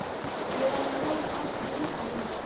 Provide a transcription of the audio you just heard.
Ég var að reyna að opna gluggann áðan.